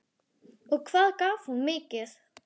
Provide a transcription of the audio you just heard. Hugrún Halldórsdóttir: Og hvað gaf hún mikið?